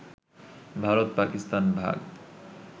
ভারত-পাকিস্তান ভাগ